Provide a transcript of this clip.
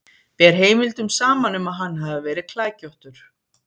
Ber heimildum saman um að hann hafi verið klækjóttur.